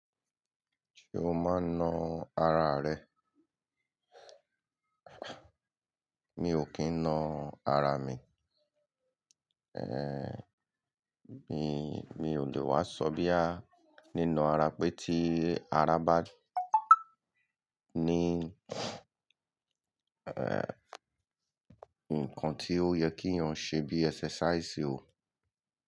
Ṣé o máa ń na ara rẹ? Mi ò kí ń na ara mi. Mi, mi ò lè wá sọ bí a nínan ara pé tí ara bá ní, nǹkan tí ó yẹ kí èèyàn ṣe bí ẹsẹ́sàísì ò.